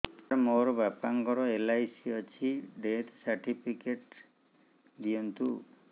ସାର ମୋର ବାପା ଙ୍କର ଏଲ.ଆଇ.ସି ଅଛି ଡେଥ ସର୍ଟିଫିକେଟ ଦିଅନ୍ତୁ